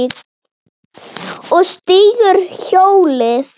Og stígur hjólið.